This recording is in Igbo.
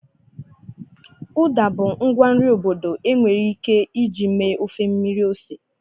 Uda bụ ngwa nri obodo enwere ike iji mee ofe mmiri ose.